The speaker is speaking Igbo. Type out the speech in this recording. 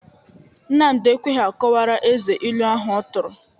Nnamdị ekweghi akọwara Eze ilu ahụ ọ tụrụ.